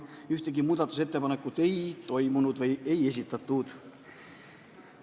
Ühtegi muudatusettepanekut selleks ajaks ei esitatud.